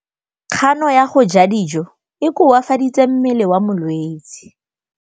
Kganô ya go ja dijo e koafaditse mmele wa molwetse.